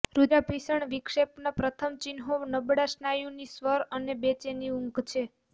રુધિરાભિસરણ વિક્ષેપના પ્રથમ ચિહ્નો નબળા સ્નાયુની સ્વર અને બેચેની ઊંઘ છે